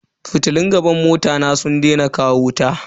Fitilun gaban mota na sun daina kawo wuta.